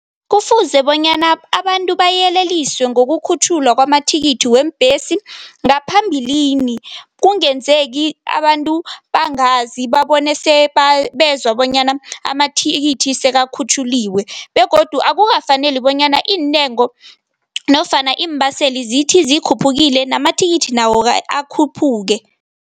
Kufuze bonyana abantu bayeleliswe wokukhutjhulwa kwamathikithi weembhesi ngaphambilini. Kungenzeki abantu bangazi, babone sebezwa bonyana amathikithi sekakhutjhuliwe begodu akukafaneli bonyana iintengo nofana iimbaseli zithi zikhuphukile, namathikithi nawo akhuphuke.